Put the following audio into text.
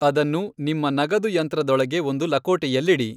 ಅದನ್ನು ನಿಮ್ಮ ನಗದುಯಂತ್ರದೊಳಗೆ ಒಂದು ಲಕೋಟೆಯಲ್ಲಿಡಿ.